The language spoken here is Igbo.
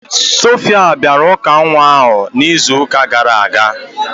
Sophia bịara ụka nwa ahụ n'izu ụka gara aga